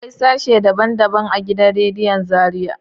Akwai sashe daban daban a gidan radiyon Zariya.